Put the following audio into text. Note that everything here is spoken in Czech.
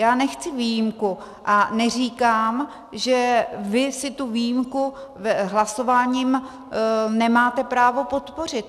Já nechci výjimku a neříkám, že vy si tu výjimku hlasováním nemáte právo podpořit.